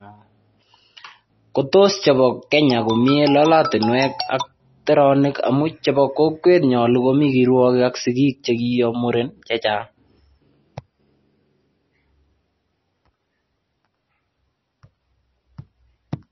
Kotos chobo Kenya komie lolotinwek ak teranik amun chebo kokwet konyalu komi kirwagik ak sigik chekiyo meren chechang